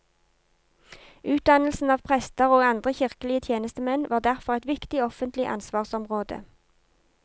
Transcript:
Utdannelsen av prester og andre kirkelige tjenestemenn var derfor et viktig offentlig ansvarsområde.